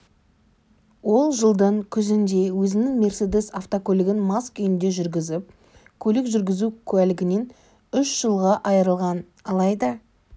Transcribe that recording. ол жылдың күзінде өзінің мерседес автокөлігін мас күйінде жүргізіп көлік жүргізу куәлігінен үш жылға айырылған алайда